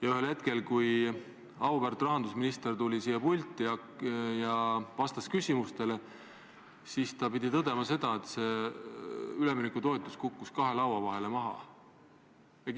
Aga ühel hetkel, kui auväärt rahandusminister tuli siia pulti ja vastas küsimustele, pidi ta tõdema, et see üleminekutoetus kukkus kahe laua vahele maha.